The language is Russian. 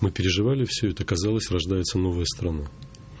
мы переживали все это казалось рождается новая страна